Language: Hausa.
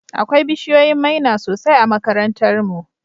Akwai bishiyoyin maina sosai a makarantar mu.